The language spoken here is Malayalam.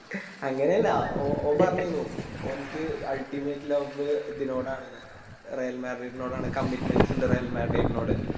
അങ്ങനെ അല്ല ഓ ഓൻ പറഞ്ഞിന്നു ഓനിക്ക് Ultimate log ഇതിനോടാണ് റെൽമാർടിർഡിനോടാണ് Commitments ഇണ്ട് റെൽമാർടിർഡിനോടാണ്